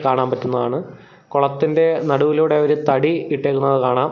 കാണാൻ പറ്റുന്നതാണ് കുളത്തിന്റെ നടുവിലൂടെ ഒരു തടി ഇട്ടേക്കുന്നത് കാണാം.